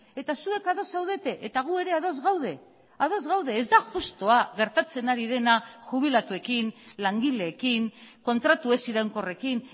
eta zuek ados zaudete eta gu ere ados gaude ados gaude ez da justua gertatzen ari dena jubilatuekin langileekin kontratu ez iraunkorrekin